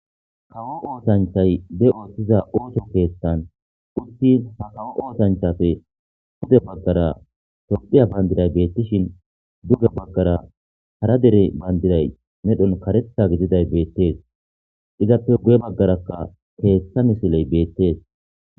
Kawo osanchay be othiza osso kethan uti ha kawo osanchati pude bagara tophiya pandiray betishin duge bagara hara dere pandiray medhoy karetha gididay betese izape guye bagarakka ketha misiley betese